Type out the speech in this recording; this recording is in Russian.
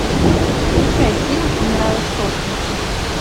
включай фильм умираю со смеху